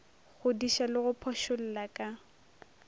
godiša le go phošolla ka